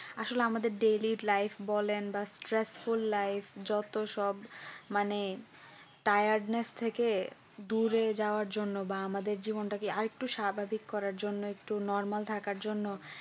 আসলে আমাদের daily life বলেন বা stress full life যতসব মানে Tiredness থেকে দূরে যাবার জন্য বা আমাদের জীবনটাকে আরেকটুকু স্বাভাবিক করা জন্য একটু normal থাকার জন্য